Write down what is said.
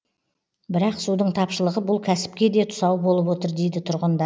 бірақ судың тапшылығы бұл кәсіпке де тұсау болып отыр дейді тұрғындар